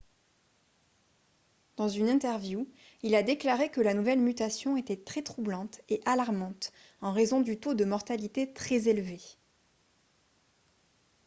"dans une interview il a déclaré que la nouvelle mutation était "très troublante et alarmante en raison du taux de mortalité très élevé"".